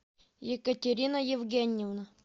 екатерина евгеньевна